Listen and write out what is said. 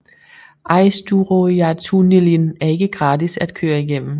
Eysturoyartunnilin er ikke gratis at køre igennem